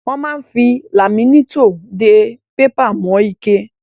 Wọ́n máa ń fi laminétọ̀ dé pépà mọ́ ike.